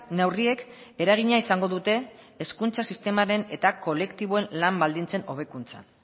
neurriek eragina izango dute hezkuntza sistemaren eta kolektiboen lan baldintzen hobekuntzan